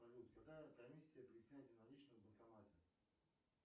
салют какая комиссия при снятии наличных в банкомате